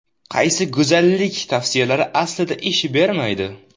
Qaysi go‘zallik tavsiyalari aslida ish bermaydi?.